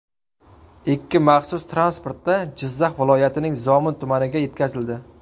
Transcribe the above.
Ikki maxsus transportda Jizzax viloyatining Zomin tumaniga yetkazildi.